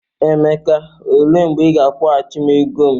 Emeka, ole mgbe ị ga-akwọgachi m ego m?